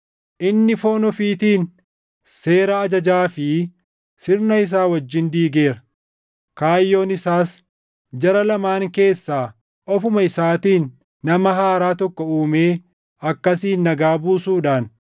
inni foon ofiitiin seera ajajaa fi sirna isaa wajjin diigeera. Kaayyoon isaas jara lamaan keessaa ofuma isaatiin nama haaraa tokko uumee akkasiin nagaa buusuudhaan